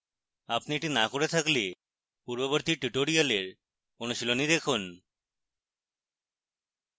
আপনি এটি না করে থাকলে পূর্ববর্তী tutorials অনুশীলনী দেখুন